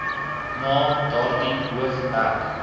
na daardie hoofhek